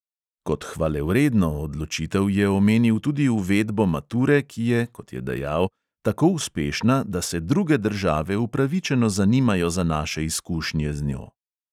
Kot "hvalevredno" odločitev je omenil tudi uvedbo mature, ki je, kot je dejal, "tako uspešna, da se druge države upravičeno zanimajo za naše izkušnje z njo".